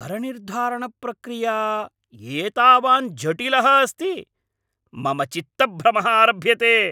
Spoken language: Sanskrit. करनिर्धारणप्रक्रिया एतावान् जटिलः अस्ति, मम चित्तभ्रमः आरभ्यते!